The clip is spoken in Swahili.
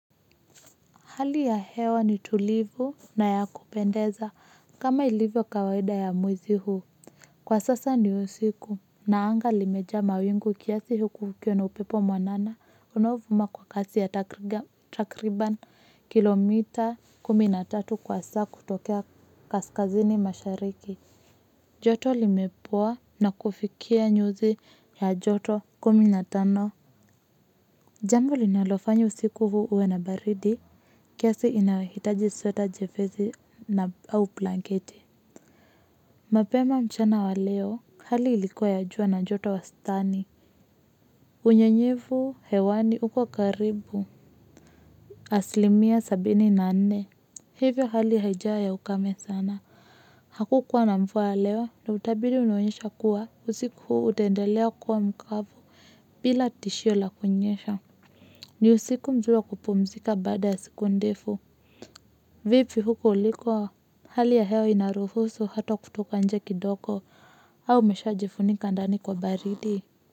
Hali ya hewa ni tulivu na ya kupendeza kama ilivyo kawaida ya mwezi huu. Kwa sasa ni usiku na anga limejaa mawingu kiasi huku kukiwa na upepo mwanana unovuma kwa kasi ya takriban kilomita kumi na tatu kwa saa kutokea kaskazini mashariki. Joto limepoa na kufikia nyuzi ya joto kumi na tano. Jambo linalofanyo usiku huu uwe na baridi, kiasi inahitaji sweta jepesi au blanketi. Mapema mchana wa leo, hali ilikuwa ya jua na joto wastani. Unye nyevu hewani uko karibu. Asilimia sabini na nne. Hivyo hali haijawa ya ukame sana. Hakukuwa na mvua leo, na utabiri unaonyesha kuwa usiku huu utendelea kuwa mkavu bila tishio la kunyesha. Ni usiku mzuri wa kupumzika baada ya siku ndefu. Vipi huko uliko? Hali ya hewa inaruhusu hata kutoka nje kidogo au umeshaa jifunika ndani kwa baridi.